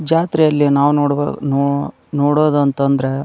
ಜಾತ್ರೆಯಲ್ಲಿ ನಾವು ನೋಡಬಹುದು ನೋ ನೋಡೋದಂತ ಅಂದ್ರೆ --